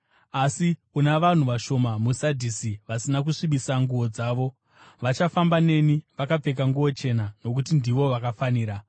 Asi una vanhu vashoma muSadhisi vasina kusvibisa nguo dzavo. Vachafamba neni, vakapfeka nguo chena, nokuti ndivo vakafanira.